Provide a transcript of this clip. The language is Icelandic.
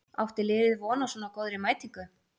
Átti liðið von á svona góðri mætingu?